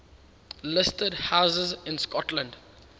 listed houses in scotland